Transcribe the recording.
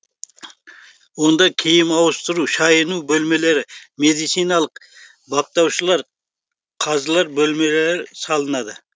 онда киім ауыстыру шайыну бөлмелері медициналық баптаушылар қазылар бөлмелері салынады